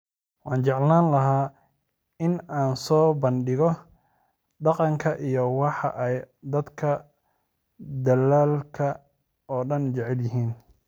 Waxaan jeclaan lahaa in aan soo bandhigo dhaqanka iyo waxa ay dadka dalalka oo dhan jecel yihiin